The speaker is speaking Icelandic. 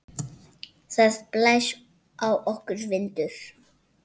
Það blæs á okkur vindur.